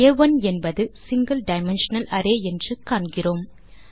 ஆ1 என்பது single dimensional array என்று காண்கிறோம்